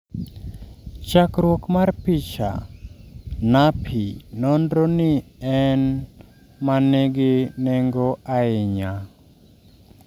Chackruok mar picha: NAPPY nonro ni en ma ngi neng'o ahinya